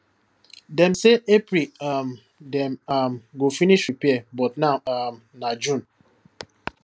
dem say april um dem um go finish repair but now um na june